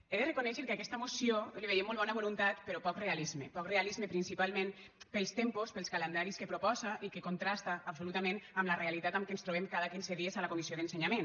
he de reconèixer que a aquesta moció li veiem molt bona voluntat però poc realisme poc realisme principalment pels tempos pels calendaris que proposa i que contrasten absolutament amb la realitat amb què ens trobem cada quinze dies a la comissió d’ensenyament